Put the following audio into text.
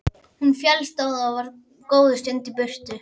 Hún féllst á það og var góða stund í burtu.